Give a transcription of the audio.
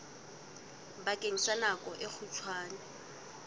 bakeng sa nako e kgutshwane